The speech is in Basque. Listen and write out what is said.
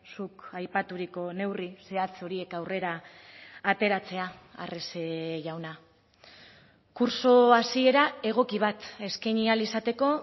zuk aipaturiko neurri zehatz horiek aurrera ateratzea arrese jauna kurtso hasiera egoki bat eskaini ahal izateko